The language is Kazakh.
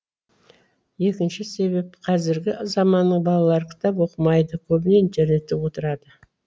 екінші себеп қазіргі заманның балалары кітап оқымайды көбіне интернетте отырады